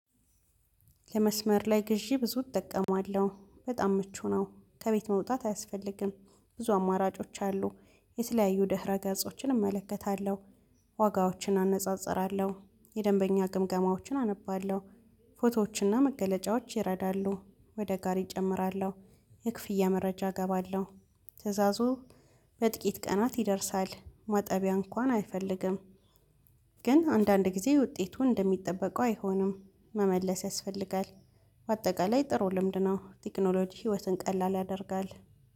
የመስመር ላይ ግዢ ብዙ እጠቀማለሁ በጣም ምቹ ነው ከቤት መውጣት አያስፈልግም። ብዙ አማራጮች አሉ የተለያዩ ደህረ ገጾችን እመለከታለሁ። ዋጋዎችን አነጻጽራለሁ የደንበኛ ግምገማዎችን አነባለሁ። ፎቶዎችና መገለጫዎች ይረዳሉ። ወደ ጋሪ እጨምራለሁ። የክፍያ መረጃ እገባለሁ። ትእዛዙ በጥቂት ቀናት ይደርሳል ማጠቢያ እንኳን አይፈልግም። ግን አንዳንድ ጊዜ ውጤቱን እንደሚጠበቀው አይሆንም። መመለስ ያስፈልጋል። በአጠቃላይ ጥሩ ልምድ ነው። ቴክኖሎጂ ህይወትን ቀላል ያደርጋል